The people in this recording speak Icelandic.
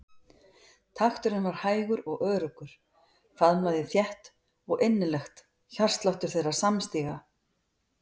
Takturinn var hægur og öruggur, faðmlagið þétt og innilegt hjartsláttur þeirra samstíga.